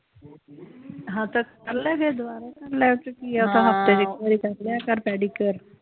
ਹਾਂ ਤਾ ਕਰਲੇ ਫੇਰ ਦਬਾਰਾ ਕਰਲੇ ਉਹ ਚ ਕਿ ਆ